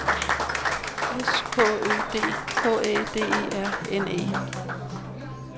S K Ø D K Æ D E R N E